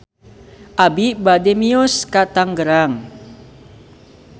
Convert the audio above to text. Abi bade mios ka Tangerang